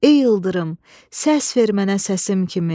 Ey ildırım, səs ver mənə səsim kimi.